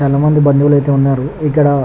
చాల మంది బండువుల్లు ఆహ్య్తే వున్నారు ఇక్క్కడ